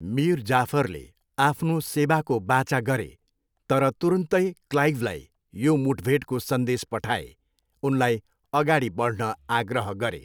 मिर जाफरले आफ्नो सेवाको वाचा गरे तर तुरुन्तै क्लाइभलाई यो मुठभेडको सन्देश पठाए, उनलाई अगाडि बढ्न आग्रह गरे।